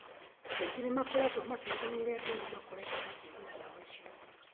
Andũ aingĩ nĩ makoretwo makĩrigwo nĩ ũrĩa andũ ethĩ makoragwo makĩnyua ndawa icio.